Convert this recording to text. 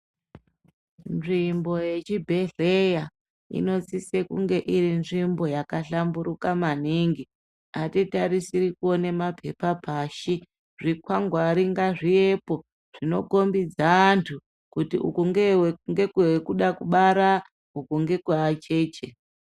Nzvimbo yechubhibhedhlera inosisa kunge iri nzvimbo yakahlamburika maningi atitarisiri kuona mapepa pashi zvikwangwari ngazviendepo zvinokombidza antu kuti uku ngekaeekuda kubara uku ndekwevacheche.